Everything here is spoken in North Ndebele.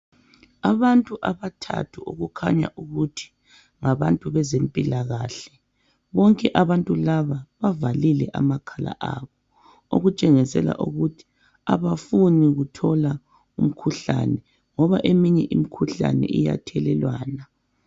Abantu abathathu okukhanya ukuthi ngabantu bezempilakahle. Bonke abantu laba bavalile amakhala abo okutshengisela ukuthi abafuni kuthola umkhuhlane ngoba eminye imikhuhlane iyathelelwana